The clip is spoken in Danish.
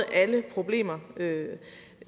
alle problemer